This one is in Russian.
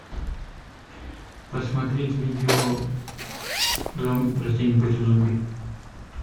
посмотреть видео растения против зомби